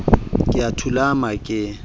ka e a thulama ke